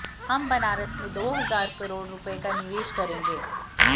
हम बनारस में दो हजार करोड़ रुपए का निवेश करेंगे